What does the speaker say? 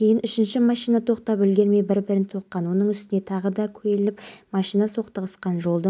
абылайдың қан қысымы мен температурасы түсіп кеткен құтқарушылар оны жартылай ес-түзсіз күйінде маңғыстау облыстық ауруханасына жеткізіп